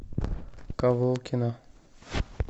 ковылкино